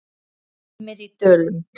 Dimmir í dölum.